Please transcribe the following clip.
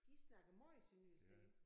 De snakker meget sønderjysk der